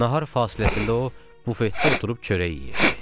Nahar fasiləsində o, bufetdə oturub çörək yeyirdi.